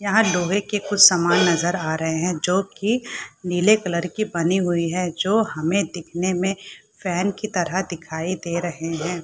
यहाँ लोहे के कुछ समान नजर आ रहे हैं जो कि नीले कलर की बनी हुई हैं जो हमें दिखने में फैन की तरह दिखाई दे रहे हैं।